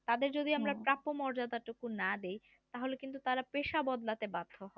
আমরা প্রাপ্য মর্যাদাটুকু না দেয় তাহলে কিন্তু তারা পেশা বদলাতে বাধ্য হবেন। হ্যাঁ